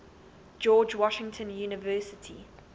george washington university